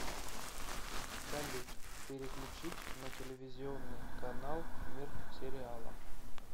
салют переключить на телевизионный канал мир сериала